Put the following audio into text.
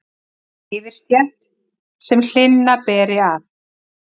yfirstétt, sem hlynna beri að.